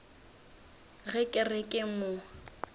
ge ke re ke mo